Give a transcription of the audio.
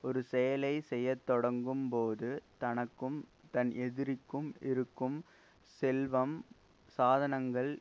ஒரு செயலை செய்ய தொடங்கும்போது தனக்கும் தன் எதிரிக்கும் இருக்கும் செல்வம் சாதனங்கள்